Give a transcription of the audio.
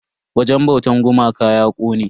Wajen bautan gumakan ya kone.